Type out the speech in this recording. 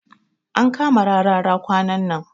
An kama Rarara kwanan nan.